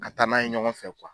Ka taa n'a ye ɲɔgɔn fɛ